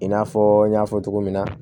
I n'a fɔ n y'a fɔ cogo min na